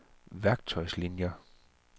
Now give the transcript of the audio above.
værktøjslinier